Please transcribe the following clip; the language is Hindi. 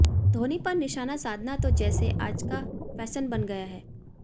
धोनी पर निशाना साधना तो जैसे आजका फैशन बन गया है